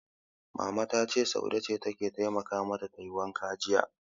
Mama ta ce, Saude ce ta taimaka mata tayi wankan jiya.